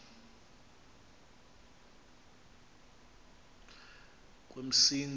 kwemsintsi